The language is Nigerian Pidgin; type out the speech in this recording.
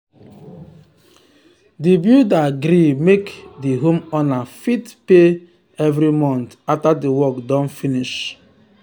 the builder gree make the homeowner fit fit pay every month after the work don finish.